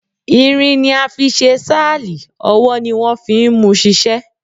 Irin ni a fi ṣe sáàlì ọwọ́ ni wọ́n fi ń múu ṣiṣẹ́.